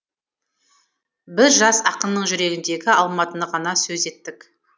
біз жас ақынның жүрегіндегі алматыны ғана сөз еттік